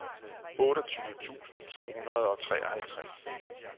otteogtyve tusind to hundrede og treoghalvtreds